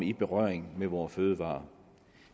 i berøring med vore fødevarer